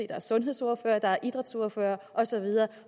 der er sundhedsordførere der er idrætsordførere og så videre